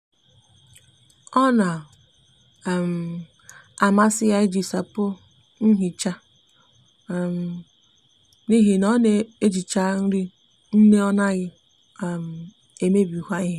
o na um amasi ya iji sapo nhicha um n'ihi na o n'ejicha ri nne o naghi um emebikwa ihe